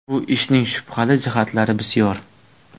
Bu ishning shubhali jihatlari bisyor.